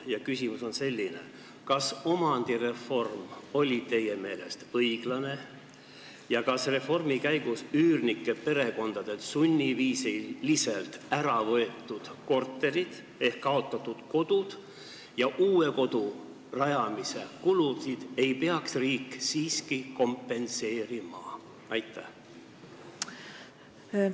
Mu küsimus on selline: kas omandireform oli teie meelest õiglane ja kas reformi käigus üürnike perekondadelt sunniviisiliselt ära võetud kortereid ehk kaotatud kodusid ei peaks riik siiski kompenseerima, hüvitades uue kodu rajamise kulud?